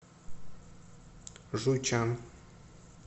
жуйчан